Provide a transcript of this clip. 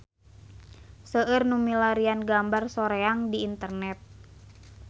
Seueur nu milarian gambar Soreang di internet